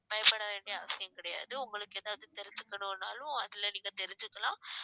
பயப்பட வேண்டிய அவசியம் கிடையாது உங்களுக்கு ஏதாவது தெரிஞ்சுக்கணும்னாலும் அதுல நீங்க தெரிஞ்சுக்கலாம்